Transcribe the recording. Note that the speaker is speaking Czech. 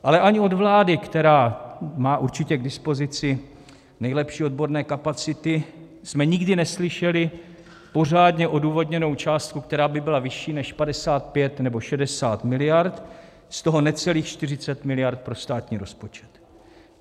Ale ani od vlády, která má určitě k dispozici nejlepší odborné kapacity, jsme nikdy neslyšeli pořádně odůvodněnou částku, která by byla vyšší než 55 nebo 60 miliard, z toho necelých 40 miliard pro státní rozpočet.